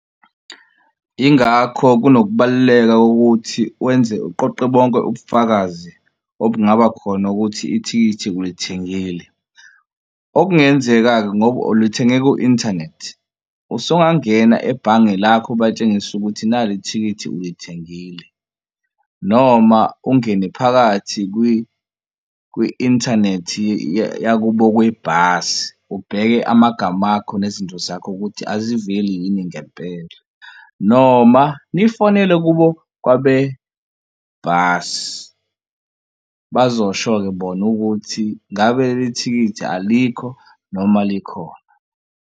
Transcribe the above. Yingakho-ke kunokubaluleka kokuthi wenze uqoqe bonke ubufakazi obungaba khona ukuthi ithikithi ulithengile. Okungenzeka-ke ngoba ulithenge ku-inthanethi usungangena ebhange lakho ubatshengise ukuthi nali ithikithi ulithengile noma ungene phakathi kwi-inthanethi yakubo kwebhasi ubheke amagama akho nezinto zakho ukuthi aziveli yini ngempela noma nifonele kubo kwabebhasi. Bazosho-ke bona ukuthi ngabe leli thikithi alikho noma likhona.